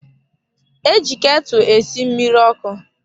E ji ketụ esi mmiri ọkụ.